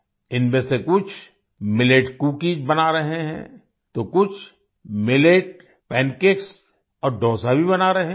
इनमें से कुछ मिलेट कुकीज बना रहे हैं तो कुछ मिलेट पन केक्स और डोसा भी बना रहे हैं